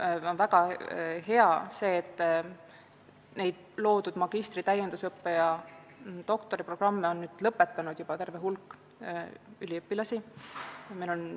Mul on hea meel, et loodud magistri-, täiendus- ja doktoriprogramme on lõpetamas terve hulk üliõpilasi.